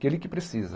que ele que precisa.